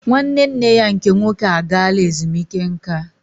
Nwanne nne ya nke nwoke agaala ezumike nka